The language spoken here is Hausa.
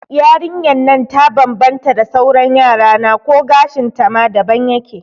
Yarinyan nan ta bambanta da sauran Yarana ko gashin ta ma daban yake